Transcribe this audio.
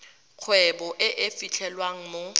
kgwebo e e fitlhelwang mo